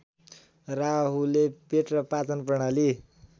राहुले पेट र पाचनप्रणाली